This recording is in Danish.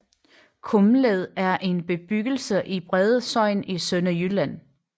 Kumled er en bebyggelse i Brede Sogn i Sønderjylland